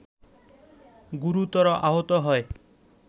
গুরুতর আহত হয়